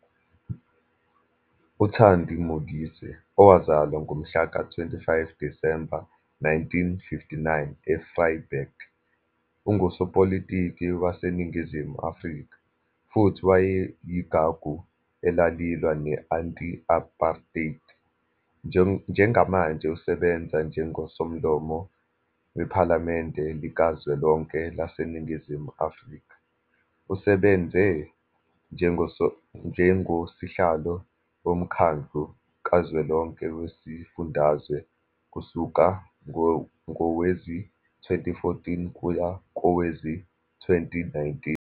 UThandi Modise, owazalwa ngomhlaka-25 Disemba 1959, eVryburg, ungusopolitiki waseNingizimu Afrika, futhi wayeyigagu elalilwa ne-Anti-Apartheid. Njengamanje usebenza njengoSomlomo Wephalamende Likazwelonke laseNingizimu Afrika. Usebenze njengoSihlalo woMkhandlu Kazwelonke Wezifundazwe kusuka ngowezi-2014 kuya kowezi-2019.